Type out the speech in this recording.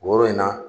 Woro in na